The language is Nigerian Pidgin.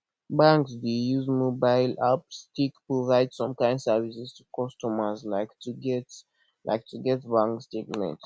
banks dey use mobile apps take provide some kimd services to customers like to get like to get bank statement